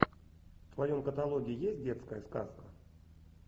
в твоем каталоге есть детская сказка